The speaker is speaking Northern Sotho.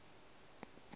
ba go di ja ka